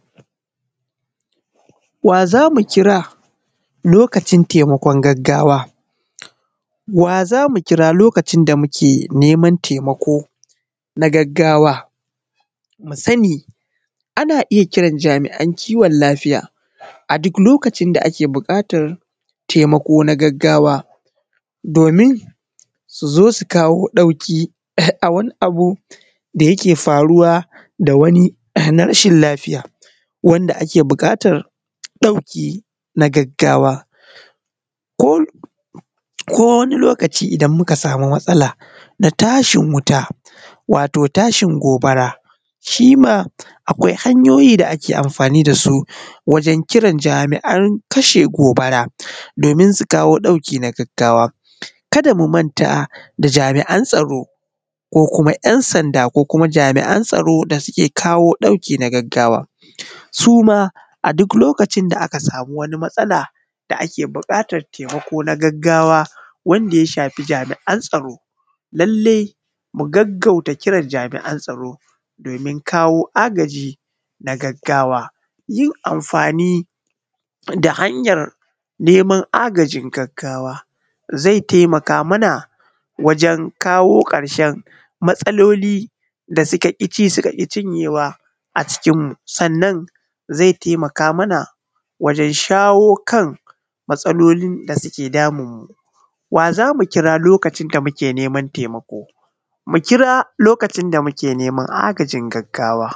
Wa zamu kira lokacin taimakon gaggawa? Wa zamu kira lokacin da muke naiman taimako na gaggawa? Mu sani ana iyya kiran jami’an kiwon lafiya a duk lokacin da ake buƙatar taimako na gaggawa domin su zo su kawo ɗauki a wani abu da yake faruwa da wani na rashin lafiya wanda ake buƙatan ɗauki na gaggawa. Ko wani lokaci idan muka samu matsala na tashin wuta, wato tashin gobara shima akwai hanyoyi da ake amfani dasu wajen kiran jami’an kashe gobara domin su kawo ɗauki na gaggawa, kada mu manta da jami’an tsaro ko kuma ‘yan’ sanda ko kuma jami’an kashe gobara da suke kawo ɗauki na gaggawa. Suma a duk lokacin da aka samu wata matsala da ake buƙatar taimako na gaggawa wanda ya shafi jami’an tsaro. Lallai ku gaggauta kiran jami’an tsaro domin kawo agaji na gaggawa, yin amfani da neman hanya agaji na gaggagawa zai taiimaka maka wajen kawo ƙarshen matsaloli da suka ƙici suka ƙi cinyewa a cikin mu, sannan zai taimaka mana wajen shawo kan matsalolin dake damun mu. Wa zamu kira lokacin da muke neman taimako? Mu kira lokacin da muke neman agajin gaggawa.